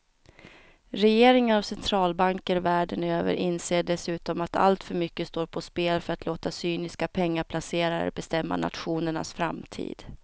Regeringar och centralbanker världen över inser dessutom att alltför mycket står på spel för att låta cyniska pengaplacerare bestämma nationernas framtid.